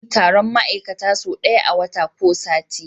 Anayin Taron ma'ikata so daya a wata ko sati